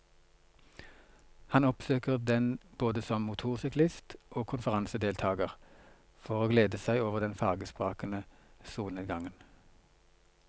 Han oppsøker den både som motorsyklist og konferansedeltager for å glede seg over den farvesprakende solnedgangen.